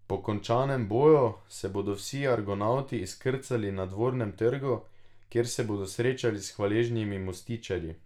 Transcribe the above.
Po končanem boju se bodo vsi Argonavti izkrcali na Dvornem trgu, kjer se bodo srečali s hvaležnimi mostiščarji.